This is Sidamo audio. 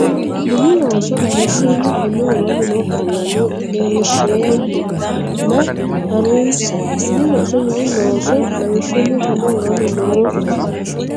Mini Looso lawishshunni konni woroonni noo qaallara leellisheemmo a nena ha runse Mini Looso Mini Looso lawishshunni konni woroonni noo.